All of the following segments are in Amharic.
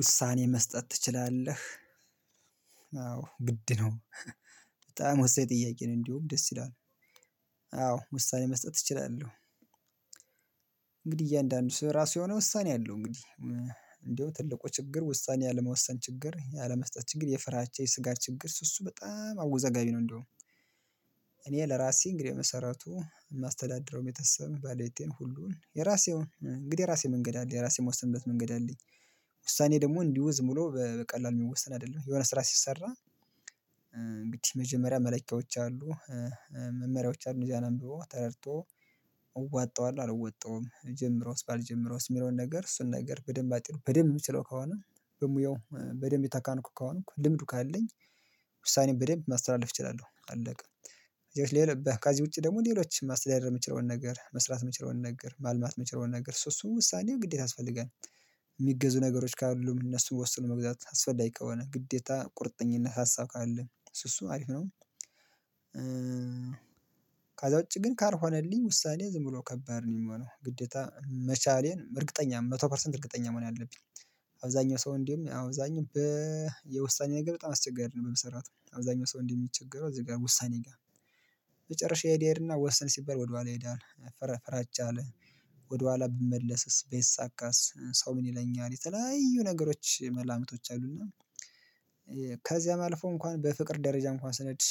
ውሳኔ መስጠት ትችላለህ? አዎ ግድ ነው። በጣም ወሳኝ ጥያቄ ነው እንዲያውም ደስ ይላል። አዎ ውሳኔ መስጠት እችላለሁ። እንግዲህ እያንዳንዱ ሰው የራሱ የሆነ ውሳኔ አለው እንግዲህ። እንደው ትልቁ ችግር ውሳኔ አለመወሰን ችግር ያለመስጠት ችግር የፍራቻ የስጋት ችግር እሱ በጣም አወዛጋቢ ነው። እንደውም እኔ ለራሴ እንግዲህ በመሰረቱ የማስተዳደረው ቤተሰብ ባለቤቴን ሁሉን የራሴውን እንግዲህ የራሴ መንገድ አለ የራሴ ምወስንበት መንገድ አለኝ። ውሳኔ ደግሞ እንዲሁ ዝም ብሎ በቀላሉ የሚወሰን አይደለም የሆነ ስራ ሲሰራ። እንግዲህ መጀመሪያ መለኪያዎች አሉ። መመሪያዎች አሉ እነዚያን አንብቦ ተረድቶ እዋጣዋለሁ አልወጣውም ብጀምረውስ ባልጀምረውስ የሚለውን ነገር እሱን ነገር በደንብ አጤኖ በደንብ የምችለው ከሆነ። በሙያው በደንብ የተካንኩ ከሆንኩ ልምዱ ካለኝ። ውሳኔ በደንብ ማስተላለፍ እችላለሁ አለቀ። ሌሎች ከዚ ውጪ ደግሞ ሌሎች ማስተዳደር የምችለውን ነገር መስራት የምችለውን ነገር ማልማት የምችለውን ነገር ሶ እሱን ውሳኔ ግዴታ ያስፈልጋል። የሚገዙ ነገሮች ካሉም እነሱን ወስኖ መግዛት አስፈላጊ ከሆነ ግዴታ ቁርጠኝነት ሀሳብ ካለ እሱ እሱ አሪፍ ነው። ከዛ ውጪ ግን ካልሆነልኝ ውሳኔ ዝም ብሎ ከባድ ነው የሚሆነው ግዴታ መቻሌን እርግጠኛ መቶ ፐርሰንት እርግጠኛ መሆን አለብኝ። አብዛኛው ሰው እንዲያውም አብዛኛው በየውሳኔ ነገር በጣም አስቸጋሪ ነው በመሰረቱ አብዛኛው ሰው እንዲ የሚቸገረው እዚህ ጋር ውሳኔ ጋር። መጨረሻ ይሄድ ይሄድና ወሰን ሲበል ወደኋላ ይሄዳል ፈራ ፍራቻ አለ። ወደኋላ ብመለስስ ባይሳካስ ሰው ምን ይለኛል? የተለያዩ ነገሮች መላምቶች አሉና። ከዚያም አልፎ እንኳን በፍቅር ደረጃ እንኳን ስኔድ።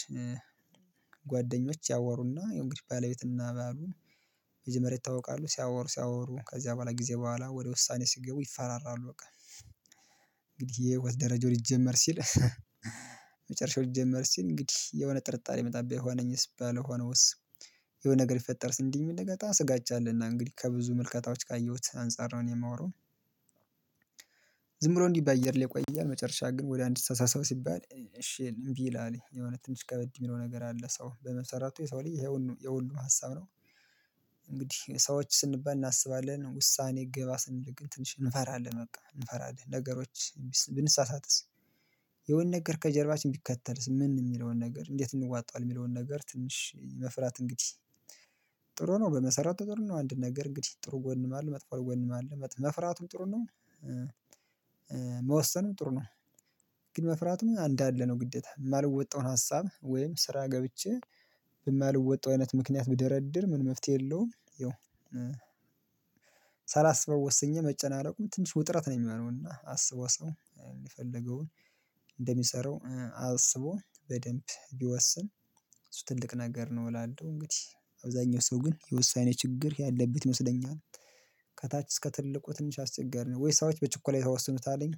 ጓደኞች ያወሩና ያው እንግዲህ ባለቤትና ባሉ። መጀመሪያ ይተዋወቃሉ ሲያወሩ ሲያወሩ ከዚያ በኋላ ጊዜ በኋላ ወደ ውሳኔ ሲገቡ ይፈራራሉ በቃ። እንግዲህ የህይወት ደረጃው ሊጀመር ሲል። መጨረሻው ሊጀምር ሲል እንግዲህ የሆነ ጥርጣሬ ይመጣል ብሆነኝስ ባልሆነውስ እንደው የሆነ ነገር ሊፈጠር ሲል እንዲም ይመጣል ስጋቻ አለና እንግዲህ ከብዙ ምልከታዎች ካየሁት አንፃር ነው የማወራው። ዝም ብሎ እንዲህ በአየር ላይ ይቆያል። መጨረሻ ግን ወደ አንድ ተሰብሰቡ ሲባል እሺ እንቢ ይላል የሆነ ትንሽ ከበድ የሚለው ነገር አለ። ሰው በመሰረቱ የሰው ልጅ ይሄ የሁሉም ሀሳብ ነው። እንግዲህ ሰዎች ስንባል እናስባለን ውሳኔ ግባ ስንል እንፈራለን በቃ እንፈራለን ነገሮች ብንሳሳትስ? የሆነ ነገር ከጀርባችን ቢከተልስ ምን የሚለውን ነገር እንዴት እንዋጣዋለን የሚለውን ነገር ትንሽ መፍራት እንግዲህ። ጥሩ ነው በመሰረቱ ጥሩ ነው አንድ ነገር እንግዲህ ጥሩ ጎንም አለ መጥፎ ጎንም አለ መፍራቱ ጥሩ ነው። መወሰኑም ጥሩ ነው። ግን መፍራቱም አንዳለ ነው ግደታ የማልወጣውን ሀሳብ ወይም ስራ ገብቼ። በማልወጣው አይነት ምክንያት ብደረድር ምንም መፍትሄ የለውም ያው። ሳላስበው ወስኜ መጨናነቁም ትንሽ ውጥረት ነው የሚሆነው። እና አስቦ ሰው የፈለገውን እንደሚሰራው አስቦ በደንብ ቢወስን እሱ ትልቅ ነገር ነው እላለሁ። እንግዲህ አብዛኛው ሰው ግን የውሳኔ ችግር ያለበት ይመስለኛል። ከታች እስከ ትልቁ ትንሽ አስቸጋሪ ነው ወይ ሰዎች በችኮላ ይወስኑታልኝ?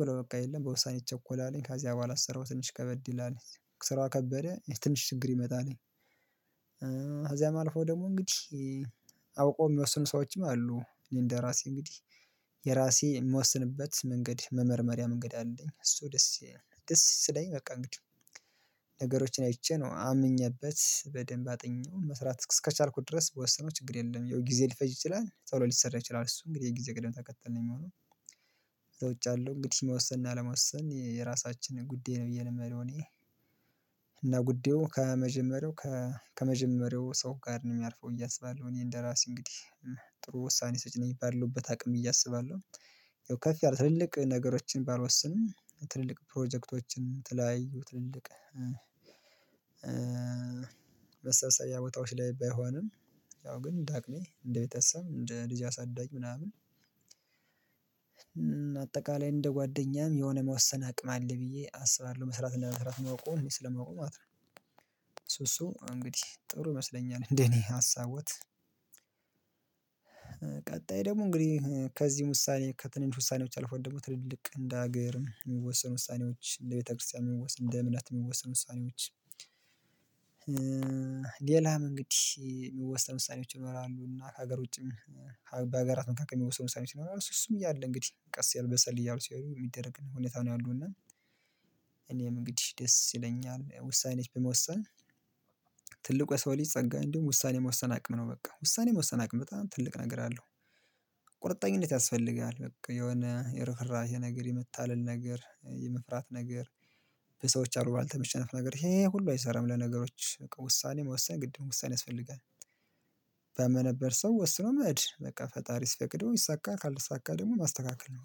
ብሎ በቃ የለም በውሳኔ ይቸኮላል ከዚህ በሐላ ስራው ትንሽ ከበድ ይላል። ስራው ከበደ ትንሽ ችግር ይመጣል። ከዚያም አልፎ ደግሞ እንግዲህ አውቆ የሚወስኑ ሰዎችም አሉ እንደራሴ እንግዲህ። የራሴ የምወስንበት መንገድ መመርመሪያ መንገድ አለኝ እሱ ደስ ደስ ስለኝ በቃ እንግዲህ። ነገሮችን አይቼ ነው አምኜበት በደንብ አጥኜው መስራት እስከቻልኩት ድረስ ብወሰነው ችግር የለም። ያው ጊዜ ሊፈጅ ይችላል ቶሎ ሊሰራ ይችላል እሱ እንግዲህ የጊዜ ቀደም ተከተል ነው የሚሆነው። ከዛ ውጭ ያለው እንግዲህ መወሰን እና አለመወሰን የራሳችንን ጉዳይ ነው ብዬ ነው ምለው እኔ። እና ጉዳዩ ከመጀመሪያው ከመጀመሪያው ሰው ጋር ነው የሚያርፈው ብዬ አሰባለሁ። እኔ እንደራሴ እንግዲህ ጥሩ ውሳኔ ሰጪ ነኝ የባለውበት አቅም ብዬ አስባለሁ። ያው ከፍ ያለ ትልልቅ ነገሮችን ባልወስንም ትልልቅ ፕሮጀክቶችን የተለያዩትልልቅ መሰብሰቢያ ቦታዎች ላይ ባይሆንም። ያው ግን እንደ አቅሜ እንደ ቤተሰብ እንደ ልጅ አሳዳጊ። ምናምን አጠቃላይ እንደ ጓደኛም የሆነ መወሰን አቅም አለ ብዬ አስባለሁ መስራት ለመስራት ማቆም ስለማቆም ማለት ነው። እሱ እሱ እንግዲህ ጥሩ ይመስለኛል እንደኔ ሀሳቦት። ቀጣይ ደግሞ እንግዲህ ከዚህ ውሳኔ ከትንንሽ ውሳኔዎች አልፎ ደግሞ ትልልቅ እንደ ሀገርም የሚወሰን ውሳኔዎች እንደ ቤተክርስቲያን የሚወሰን እንደ እምነት የሚወሰን ውሳኔዎች። ሌላም እንግዲህ የሚወሰኑ ወሳኔዎች ይኖራሉ እና ከሀገር ውጪም። በሀገራት መካከል የሚወሰኑ ውሳኔዎች ይኖራሉ እሱ እሱም እያለ እንግዲህ ቀስ እያሉ በሰል ያሉ ሲሄዱ የሚደረግ ነው ሁኔታ ነው ያሉ እና። እንግዲህ ደስ ይለኛል ውሳኔዎች በመወሰን። የሰው ልጅ ጸጋ እንዲሁም ውሳኔ የመወሰን አቅም ነው በቃ ውሳኔ የመወሰን አቅም በጣም ትልቅ ነገር አለው። ቁርጠኝነት ያስፈልጋል በቃ የሆነ የርህራሄ ነገር የመታልል ነገር የመፍራት ነገር። በሰዎች አሉባልታ የመሸነፍ ነገር ይሄ ሁሉ አይሰራም ለነገሮች ውሳኔ መወሰን ግድ ነው ውሳኔ ያስፈልጋል። በማነበት ሰው ወስኖ መሄድ በቃ ፈጣሪ ሲፈቅደው ይሳካል ካልተሳካ ደግሞ ማስተካከል ነው